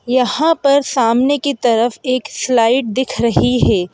यहाँ पर सामने की तरफ एक स्लाइड दिख रही है ।